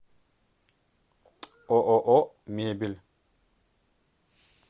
ооо мебель